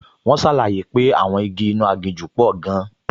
Wọ́n ṣàlàyé pé àwọn igi inú aginjù pò gan-an